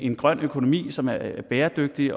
en grøn økonomi som er bæredygtig